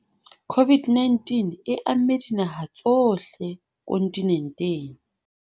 COVID-19 e amme dinaha tsohle kontinenteng.